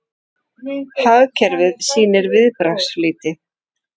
Hagkerfið sýnir viðbragðsflýti